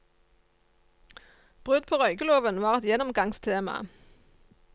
Brudd på røykeloven var et gjennomgangstema.